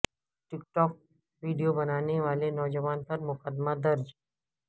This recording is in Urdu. ٹک ٹاک ویڈیو بنانے والے نوجوان پر مقدمہ درج